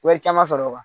Wari caman sɔrɔ